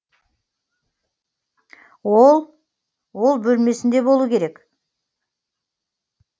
ол ол бөлмесінде болуы керек